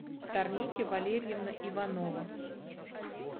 тарники валерьевна иванова